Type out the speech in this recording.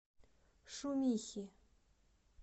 шумихи